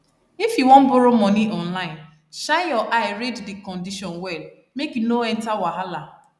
if you wan borrow money online shine your eye read di condition well make you no enter wahala